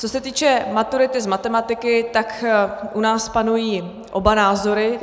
Co se týče maturity z matematiky, tak u nás panují oba názory.